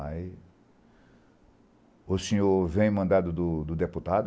Aí, o senhor vem mandado do do deputado?